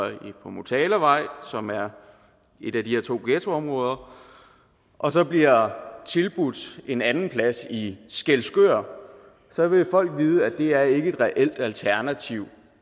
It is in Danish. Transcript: på motalavej som er et af de her to ghettoområder og så bliver tilbudt en anden plads i skælskør så vil folk vide at det ikke er et reelt alternativ